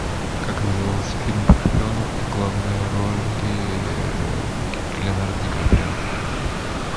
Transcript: как назывался фильм про шпионов в главной роли леонардо ди каприо